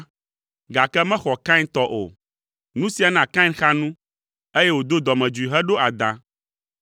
gake mexɔ Kain tɔ o. Nu sia na Kain xa nu, eye wòdo dɔmedzoe heɖo adã.